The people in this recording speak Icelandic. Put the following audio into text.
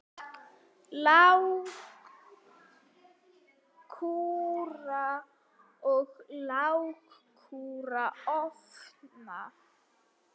Lágkúra á lágkúru ofan.